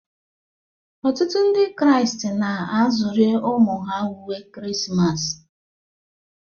Ọtụtụ Ndị Kraịst na-azụrụ ụmụ ha uwe Krismas